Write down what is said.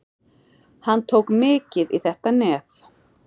Hann tók mikið í þetta nef.